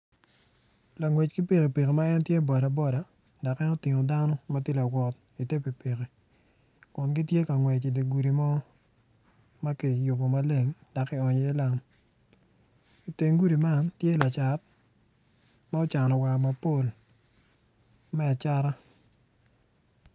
Langec ki pikipiki ma en tye boda boda dok en otingo dano iye pikipiki Kun gitye ka ngwec idye gudi mo ma kiyubo maleng dok kionyo iye lam teng gudi man tye lacat ma ocano war mapol me a acata.